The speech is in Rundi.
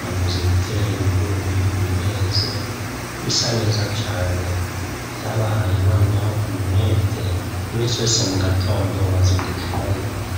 bamaze gutera ibigori bireze bisa neza cane, vyabahaye noneho umwete imisi yose mugatondo bazindukirayo.